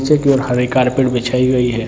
नीचे की ओर हरे कार्पेट बिछाई गई है।